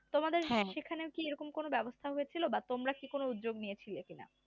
তোমাদের সেখানে কি এরকম কোন ব্যবস্থা হচ্ছিল বা তোমরা কি কোন উদ্যোগ নিয়েছিলে কিনা